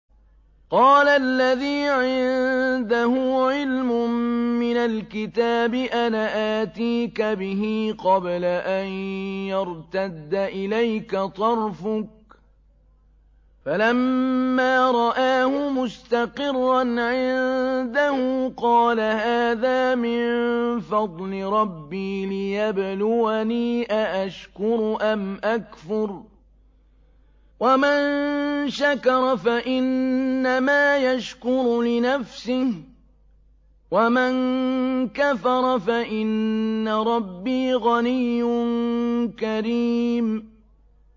قَالَ الَّذِي عِندَهُ عِلْمٌ مِّنَ الْكِتَابِ أَنَا آتِيكَ بِهِ قَبْلَ أَن يَرْتَدَّ إِلَيْكَ طَرْفُكَ ۚ فَلَمَّا رَآهُ مُسْتَقِرًّا عِندَهُ قَالَ هَٰذَا مِن فَضْلِ رَبِّي لِيَبْلُوَنِي أَأَشْكُرُ أَمْ أَكْفُرُ ۖ وَمَن شَكَرَ فَإِنَّمَا يَشْكُرُ لِنَفْسِهِ ۖ وَمَن كَفَرَ فَإِنَّ رَبِّي غَنِيٌّ كَرِيمٌ